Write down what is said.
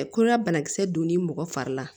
koɲa bana kisɛ donni mɔgɔ fari la